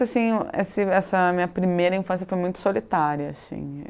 Assim, esse essa minha primeira infância foi muito solitária, assim.